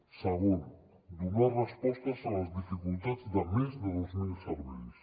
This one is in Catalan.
segon donar respostes a les dificultats de més de dos mil serveis